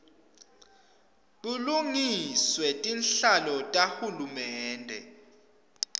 bulungiswe tinhlaka tahulumende